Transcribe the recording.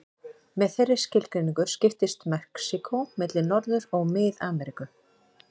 Með þeirri skilgreiningu skiptist Mexíkó milli Norður- og Mið-Ameríku.